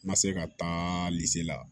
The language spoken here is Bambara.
N ma se ka taa la